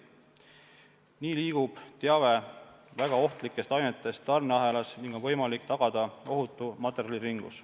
Nii liigub teave väga ohtlikest ainetest tarneahelas ning on võimalik tagada ohutu materjaliringlus.